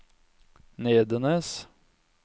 Nedenes